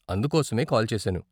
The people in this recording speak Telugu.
అందుకోసమే కాల్ చేసాను.